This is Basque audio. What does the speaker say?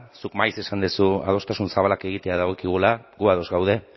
zuk maiz esan duzu adostasun zabalak egitea dagokigula gu ados gaude